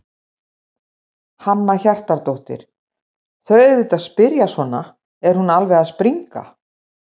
Hanna Hjartardóttir: Þau auðvitað spyrja svona, er hún alveg að springa?